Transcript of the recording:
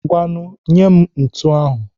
Ngwanụ nyee m ntu ahụ.